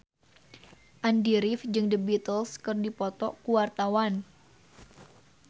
Andy rif jeung The Beatles keur dipoto ku wartawan